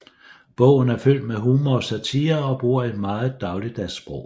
Bogen er fyldt med humor og satire og bruger et meget dagligdags sprog